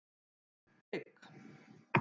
Frigg